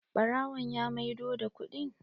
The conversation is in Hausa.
Ɓarawon ya maido da kuɗin?